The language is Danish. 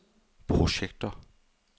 projekter